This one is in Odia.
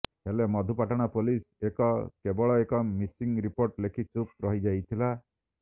ହେଲେ ମଧୁପାଟଣା ପୁଲିସ ଏକ କେବଳ ଏକ ମିସିଂ ରିପୋର୍ଟ୍ ଲେଖି ଚୁପ୍ ରହିଯାଇଥିଲା